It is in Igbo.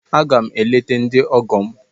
Aga m eleta ndị ọgọ m.